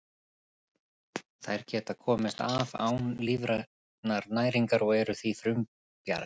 Þær geta komist af án lífrænnar næringar og eru því frumbjarga.